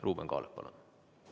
Ruuben Kaalep, palun!